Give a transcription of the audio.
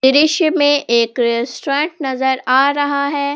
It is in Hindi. दृश्य में एक रेस्टोरेंट नजर आ रहा है।